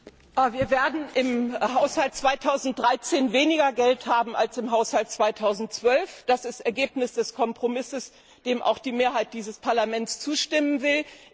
Herr Präsident! Wir werden im Haushalt 2013 weniger Geld haben als im Haushalt 2012. Das ist das Ergebnis des Kompromisses, dem auch die Mehrheit dieses Parlaments zustimmen will.